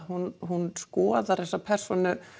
hún hún skoðar þessa persónu